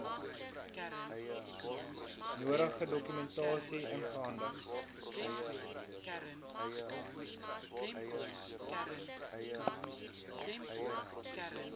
nodige dokumentasie ingehandig